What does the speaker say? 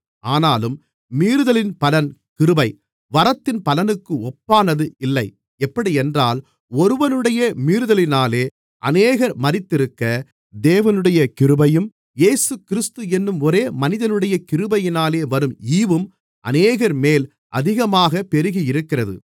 ஆனாலும் மீறுதலின் பலன் கிருபை வரத்தின் பலனுக்கு ஒப்பானது இல்லை எப்படியென்றால் ஒருவனுடைய மீறுதலினாலே அநேகர் மரித்திருக்க தேவனுடைய கிருபையும் இயேசுகிறிஸ்து என்னும் ஒரே மனிதனுடைய கிருபையினாலே வரும் ஈவும் அநேகர்மேல் அதிகமாகப் பெருகியிருக்கிறது